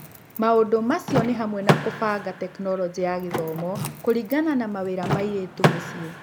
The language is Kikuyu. Maũndũ macio nĩ hamwe na kũbanga Tekinoronjĩ ya Gĩthomo kũringana na mawĩra ma airĩtu mũciĩ.